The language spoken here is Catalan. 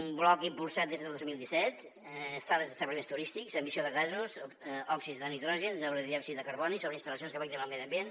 un bloc impulsat des de dos mil disset estades a establiments turístics emissió de gasos òxids de nitrogen de diòxid de carboni sobre instal·lacions que afecten el medi ambient